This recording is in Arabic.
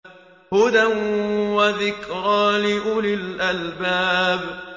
هُدًى وَذِكْرَىٰ لِأُولِي الْأَلْبَابِ